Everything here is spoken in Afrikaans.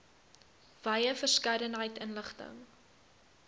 wye verskeidenheid inligting